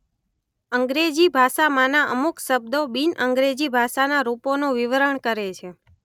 અંગ્રેજી ભાષામાંના અમુક શબ્દો બિન અંગ્રેજી ભાષાના રૂપોનું વિવરણ કરે છે.